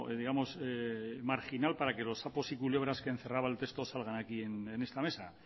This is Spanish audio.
digamos marginal para que los sapos y culebras que encerraba el texto salgan aquí en esta mesa